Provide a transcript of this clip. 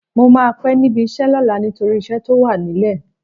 Mo máa pẹ́ níbi iṣẹ́ lọ́la nítorí iṣẹ́ tó wà nílẹ̀.